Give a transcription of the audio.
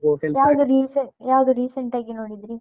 ಯಾವ್ದು recent ಆಗಿ ನೋಡಿದ್ರಿ?